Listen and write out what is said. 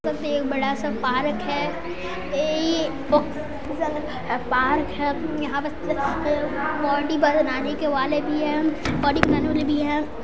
बस एक बड़ा सा पार्क है आ ओ पार्क है यहाँ बस बॉडी बनाने के वाले भी है बॉडी बनाने के वाले भी है।